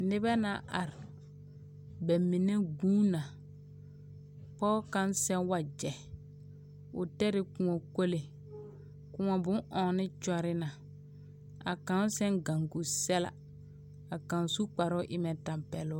Nebɛ na are, bɛmine gũũ na. Pɔge kaŋ sɛ wagyɛ, o tere kõɔ kole. kõɔ bon-enne kyole na a kaŋ sɛ ne gaŋgu sɛla. Ka kaŋ su kparo o mɛ tampɛlo.